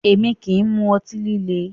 Èmi kì í mu ọtí líle